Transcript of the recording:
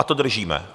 A to držíme.